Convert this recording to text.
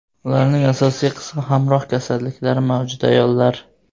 Ularning asosiy qismi hamroh kasalliklari mavjud ayollar.